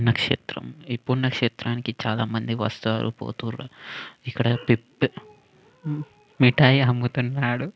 నక్షత్రం ఇ ప్పుడు నక్షత్రానికి చాలా మంది వస్తారు పోతారు ఇక్కడ పె మిట్టాయి అమ్ముతున్నాడు.